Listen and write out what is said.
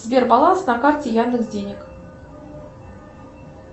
сбер баланс на карте яндекс денег